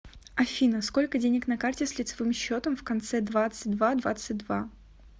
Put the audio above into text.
афина сколько денег на карте с лицевым счетом в конце двадцать два двадцать два